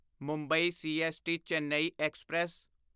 Mumbai CST Chennai express